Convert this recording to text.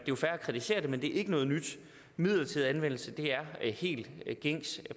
jo fair at kritisere det men det er ikke noget nyt midlertidig anvendelse er helt gængs